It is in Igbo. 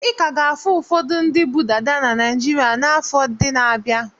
Ị ka ga-ahụ ụfọdụ ndị bu dada na Naịjirịa n'afọ ndị na-abịa.